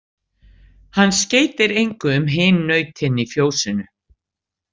Hann skeytir engu um hin nautin í fjósinu.